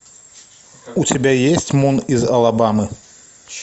у тебя есть мун из алабамы